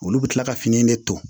Olu bɛ kila ka fini de ton